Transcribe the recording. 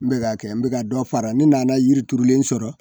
N bɛ ka kɛ n bɛ ka dɔ fara ni nana yiri turulen sɔrɔ.